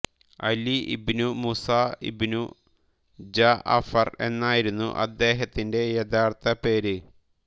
അലി ഇബ്നു മുസാ ഇബ്നു ജഅഫർ എന്നായിരുന്നു അദ്ദേഹത്തിന്റെ യഥാർത്ഥ പേര്